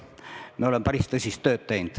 Me oleme päris tõsist tööd teinud.